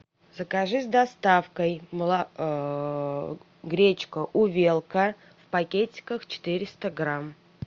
закажи с доставкой гречка увелка в пакетиках четыреста грамм